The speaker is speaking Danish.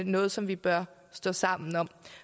noget som vi bør stå sammen om